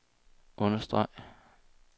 understreg